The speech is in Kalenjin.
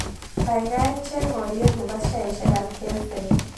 Gaigai cheng' alyet ne po sheaisiekab kencell